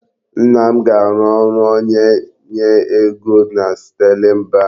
Nna m ga-arụ ọrụ onye nye ego na Sterling bank.